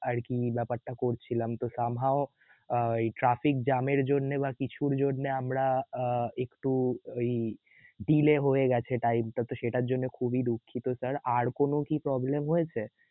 আরকি বেপার টা করছিলাম তো somehow আহ traffic jam এর জন্যে বা কিছুর জন্যে আমরা আ~ একটু ওই~ delay হয়ে গেসে তাই ত সেটার জন্যে খুবই দুঃখিত sir আর কোন কি problem হয়েছে?